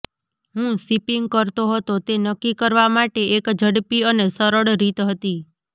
હું શિપિંગ કરતો હતો તે નક્કી કરવા માટે એક ઝડપી અને સરળ રીત હતી